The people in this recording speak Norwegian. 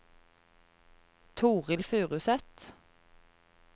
Toril Furuseth